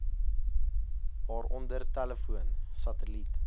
waaronder telefoon satelliet